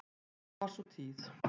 Ljúf var sú tíð.